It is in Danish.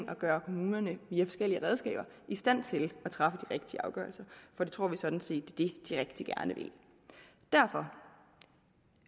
at gøre kommunerne i stand til at træffe de rigtige afgørelser for det tror vi sådan set det de rigtig gerne vil derfor